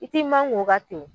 I t'i mankun o kan ten.